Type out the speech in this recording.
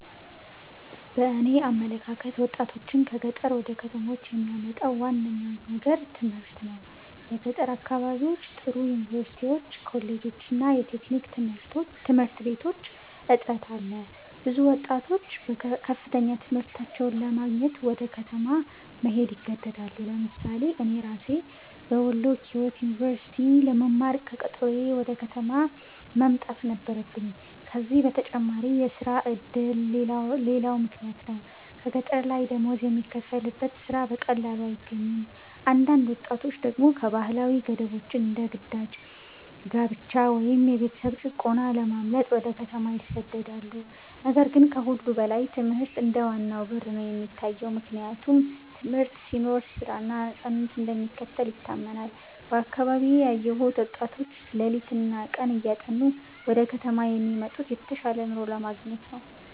በእኔ አመለካከት ወጣቶችን ከገጠር ወደ ከተሞች የሚያመጣው ዋነኛው ነገር ትምህርት ነው። በገጠር አካባቢዎች ጥሩ ዩኒቨርሲቲዎች፣ ኮሌጆች እና የቴክኒክ ትምህርት ቤቶች እጥረት አለ። ብዙ ወጣቶች ከፍተኛ ትምህርታቸውን ለማግኘት ወደ ከተማ መሄድ ይገደዳሉ። ለምሳሌ እኔ ራሴ በወሎ ኪዮት ዩኒቨርሲቲ ለመማር ከቀጠሮዬ ወደ ከተማ መምጣት ነበረብኝ። ከዚህ በተጨማሪ የሥራ ዕድል ሌላው ምክንያት ነው፤ ገጠር ላይ ደሞዝ የሚከፈልበት ሥራ በቀላሉ አይገኝም። አንዳንድ ወጣቶች ደግሞ ከባህላዊ ገደቦች እንደ ግዳጅ ጋብቻ ወይም የቤተሰብ ጭቆና ለማምለጥ ወደ ከተማ ይሰደዳሉ። ነገር ግን ከሁሉ በላይ ትምህርት እንደ ዋናው በር ነው የሚታየው፤ ምክንያቱም ትምህርት ሲኖር ሥራ እና ነፃነት እንደሚከተል ይታመናል። በአካባቢዬ ያየሁት ወጣቶች ሌሊትና ቀን እያጠኑ ወደ ከተማ የሚመጡት የተሻለ ኑሮ ለማግኘት ነው።